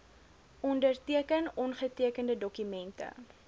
onderteken ongetekende dokumente